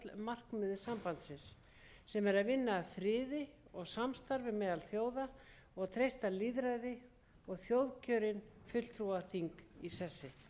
sambandsins sem er að vinna að friði og samstarfi meðal þjóða og treysta lýðræði og þjóðkjörin fulltrúaþing í sessi fyrst vil ég